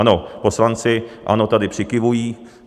Ano, poslanci ANO tady přikyvují.